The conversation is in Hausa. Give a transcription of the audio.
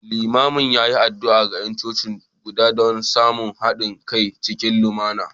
Limamin ya yi addu’a ga ’yan coci guda don samun haɗin kai cikin lumana